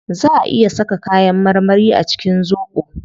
Zaa a iya saka kayan marmari a cikin zobo